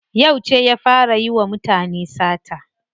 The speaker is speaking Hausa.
Yauce ya fara yiwa mutane sata?